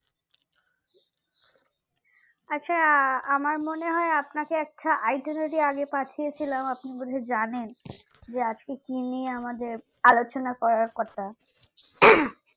আচ্ছা আমার মনে হয় আপনাকে একটা itinerary আগে পাঠিয়েছিলাম আপনি বুলছে জানেন যে আজকে কি নিয়ে আমাদের আলোচনা করার কথা উম